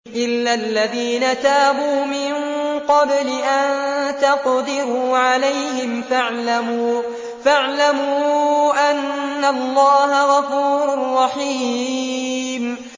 إِلَّا الَّذِينَ تَابُوا مِن قَبْلِ أَن تَقْدِرُوا عَلَيْهِمْ ۖ فَاعْلَمُوا أَنَّ اللَّهَ غَفُورٌ رَّحِيمٌ